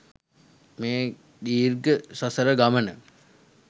මේ දීර්ඝ සසර ගමන